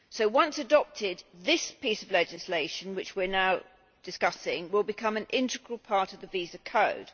Once adopted, this piece of legislation which we are now discussing will become an integral part of the visa code.